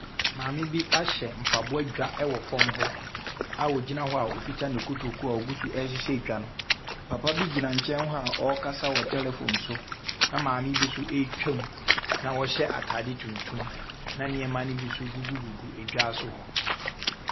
Maame bi ahyɛ mpaboa dwa ɛwɔ fom hɔ a ɔgyina wɔ ɔkuta ne kutokuo a ɔguso ɛhyehyɛ dwa papabi gyina nkyɛn wɔ ɔkasa telefon so na maame bi nso twa mu na ɔhyɛ ataadeɛ tuntum na nneɛma bi nso gugu ɛdwa so hɔ.